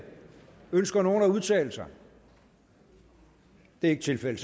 ønsker nogen at udtale sig det er ikke tilfældet